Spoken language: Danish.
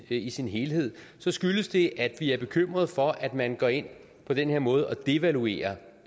ikke i sin helhed så skyldes det at vi er bekymrede for at man går ind på den her måde og devaluerer